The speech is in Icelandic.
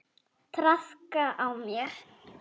Traðka á mér!